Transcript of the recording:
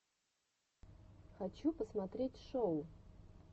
хочу посмотреть шоу